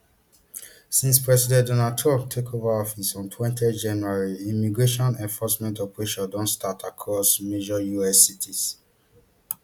since president donald trump take ova office on twenty january immigration enforcement operations don start across major us cities